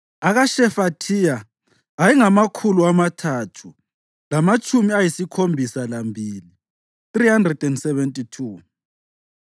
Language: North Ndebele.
akaShefathiya ayengamakhulu amathathu lamatshumi ayisikhombisa lambili (372),